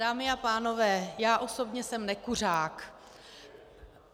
Dámy a pánové, já osobně jsem nekuřák.